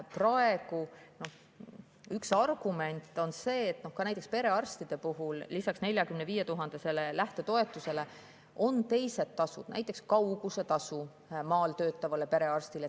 Praegu on üks argument see, et näiteks perearstidel on lisaks 45 000 lähtetoetusele teised tasud, näiteks kaugusetasu maal töötavale perearstile.